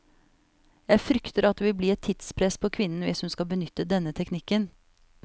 Jeg frykter at det vil bli et tidspress på kvinnen hvis hun skal benytte denne teknikken.